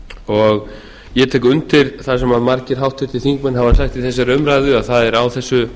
og ég tek undir það sem margir háttvirtir þingmenn hafa sagt í þessari umræðu að það er á þessu